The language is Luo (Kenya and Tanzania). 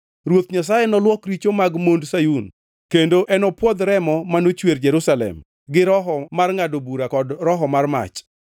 Ruoth Nyasaye noluok richo mag mond Sayun; kendo enopwodh remo manochwer Jerusalem gi roho mar ngʼado bura kod roho mar mach.